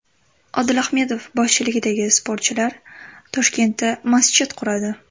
Odil Ahmedov boshchiligidagi sportchilar Toshkentda masjid quradi .